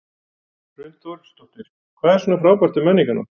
Hrund Þórsdóttir: Hvað er svona frábært við Menningarnótt?